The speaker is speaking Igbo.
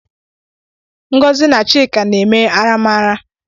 Ngozi na chika na-eme aramara